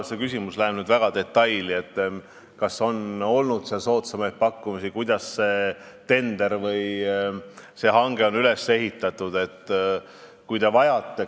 See küsimus läheb nüüd väga detailidesse, et kas on olnud soodsamaid pakkumisi, kuidas on see tender või hange üles ehitatud.